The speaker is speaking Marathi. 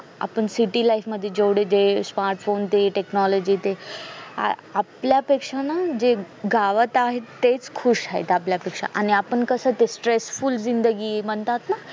आपण city life मध्ये फोन ते technology ते आपल्यापेक्षा ना जे गावात आहेत तेच खूप खुश आहेत आपल्यापेक्षा आणि आपण कस ते stressful जिंदगी म्हणतात ना